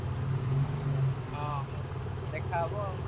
ହଁ ଦେଖା ହବ ଆଉ।